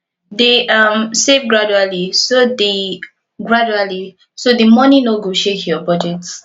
dey um save gradually so the gradually so the money no go shake your budget